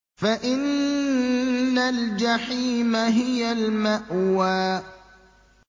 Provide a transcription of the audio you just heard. فَإِنَّ الْجَحِيمَ هِيَ الْمَأْوَىٰ